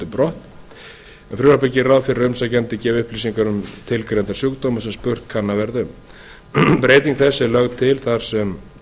brott en frumvarpið gerir ráð fyrir að umsækjandi gefi upplýsingar um tilgreinda sjúkdóma sem spurt kann að verða um breyting þessi er lögð til þar sem